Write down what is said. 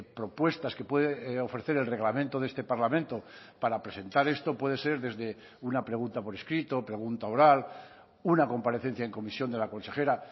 propuestas que puede ofrecer el reglamento de este parlamento para presentar esto puede ser desde una pregunta por escrito pregunta oral una comparecencia en comisión de la consejera